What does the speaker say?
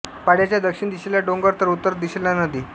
पाडयाच्या दक्षिण दिशेला डोंगर तर उत्तर दिशेला नदी